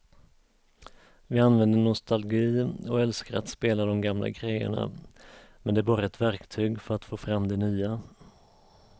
Vi använder nostalgi och älskar att spela de gamla grejerna men det är bara ett verktyg för att få fram det nya.